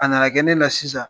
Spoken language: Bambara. A nana kɛ ne la sisan